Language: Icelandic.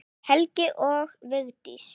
Helga og Vigdís.